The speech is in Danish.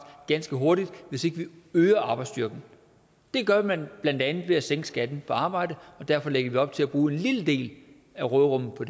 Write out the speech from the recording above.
ganske hurtigt hvis ikke vi øger arbejdsstyrken det gør man blandt andet ved at sænke skatten på arbejde og derfor lægger vi op til at bruge en lille del af råderummet på